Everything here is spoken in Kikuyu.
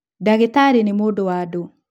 Ndagĩtarĩ nĩ mũndũ wa andũ